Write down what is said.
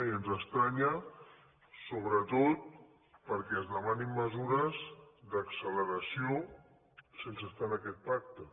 i ens estranya sobretot perquè es demanin mesures d’acceleració sense estar en aquest pacte